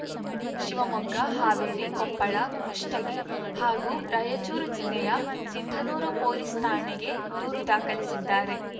ಶಿವಮೊಗ್ಗ ಹಾವೇರಿ ಕೊಪ್ಪಳ ಕುಷ್ಟಗಿ ಹಾಗೂ ರಾಯಚೂರು ಜಿಲ್ಲೆಯ ಸಿಂಧನೂರು ಪೊಲೀಸ್‌ ಠಾಣೆಗೆ ದೂರು ದಾಖಲಿಸಿದ್ದಾರೆ